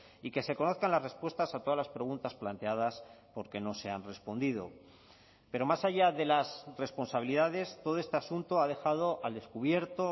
y que se conozcan las respuestas a todas las preguntas planteadas porque no se han respondido pero más allá de las responsabilidades todo este asunto ha dejado al descubierto